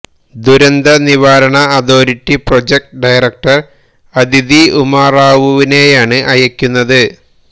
ദുരന്ത നിവാരണ authority project director Adithi ഉമാറാവുവിനെയാണ് അയക്കുന്നത്